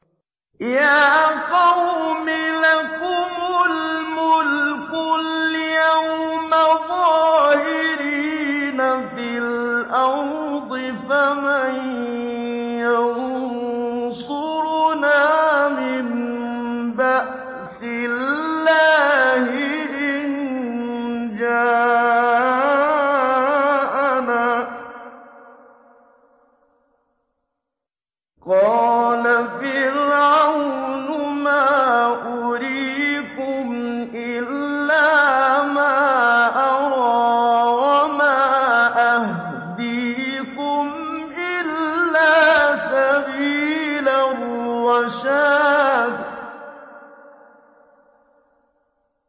يَا قَوْمِ لَكُمُ الْمُلْكُ الْيَوْمَ ظَاهِرِينَ فِي الْأَرْضِ فَمَن يَنصُرُنَا مِن بَأْسِ اللَّهِ إِن جَاءَنَا ۚ قَالَ فِرْعَوْنُ مَا أُرِيكُمْ إِلَّا مَا أَرَىٰ وَمَا أَهْدِيكُمْ إِلَّا سَبِيلَ الرَّشَادِ